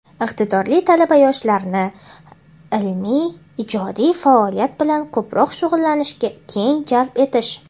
iqtidorli talaba-yoshlarni ilmiy-ijodiy faoliyat bilan ko‘proq shug‘ullanishga keng jalb etish;.